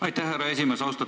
Aitäh, härra esimees!